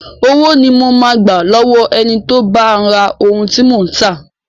Owó ni mo máa gba lọ́wọ́ ẹni tó bá ra ohun tí mò ń tà..